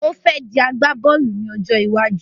Ó fẹ́ dí agbá-bóòlù ní ọjọ́ iwájú